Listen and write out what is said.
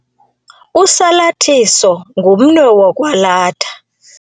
Usalathiso ngumnwe wokwalatha.